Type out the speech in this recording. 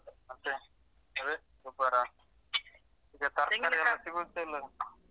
ಮತ್ತೆ ಅದೆ ಗೊಬ್ಬರ ಈಗ ತರ್ಕಾರಿ ಎಲ್ಲ ಸಿಗುದೆ ಇಲ್ಲ ಅಲ.